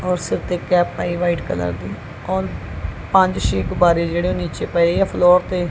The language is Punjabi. ਔਰ ਸਿਰ ਤੇ ਕੈਪ ਪਾਈ ਵਾਈਟ ਕਲਰ ਦੀ ਔਰ ਪੰਜ ਛੈ ਗੁੱਬਾਰੇ ਜਿਹੜੇ ਉਹ ਨੀਚੇ ਪਏ ਆ ਫਲੋਰ ਤੇ।